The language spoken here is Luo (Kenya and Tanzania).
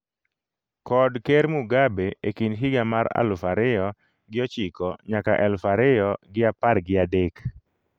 kod Ker Mugabe e kind higa mar aluf ariyo gi ochiko nyaka aluf ariyo gi apar gi adek